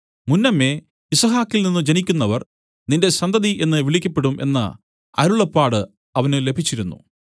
മുന്നമേ യിസ്ഹാക്കിൽനിന്നു ജനിക്കുന്നവർ നിന്റെ സന്തതി എന്നു വിളിക്കപ്പെടും എന്ന അരുളപ്പാട് അവന് ലഭിച്ചിരുന്നു